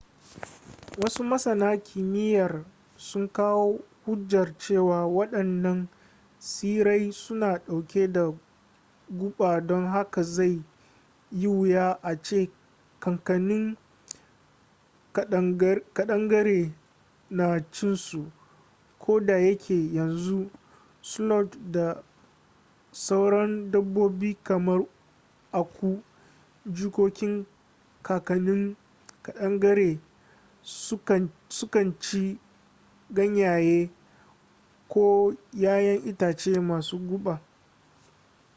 wasu masana kimiyyar sun kawo hujjar cewa waɗannan tsirrai suna ɗauke da guba don haka zai yi wuya a ce kakannin ƙadangare na cin su koda yake yanzu sloth da sauran dabbobi kamar aku jikokin kakannin ƙadangare su kan ci ganyaye ko yayan itace masu guba